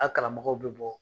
A kalanbagaw be bɔ